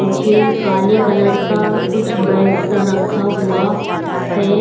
मुझे काले कलर का कुछ बैग सा रखा हुआ है।